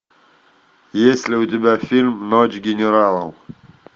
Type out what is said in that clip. есть ли у тебя фильм ночь генералов